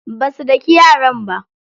Basu daki yaran ba.